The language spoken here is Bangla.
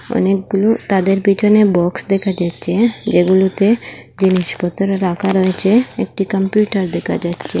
অনেকগুলো তাদের পেছনে বক্স দেখা যাচ্ছে হ্যাঁ যেগুলোতে জিনিসপত্র রাখা রয়েছে একটি কম্পিউটার দেখা যাচ্ছে।